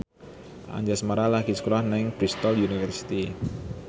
Anjasmara lagi sekolah nang Bristol university